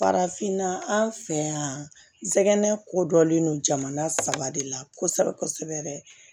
Farafinna an fɛ yan nɛgɛn kodɔnlen don jamana saba de la kosɛbɛ kosɛbɛ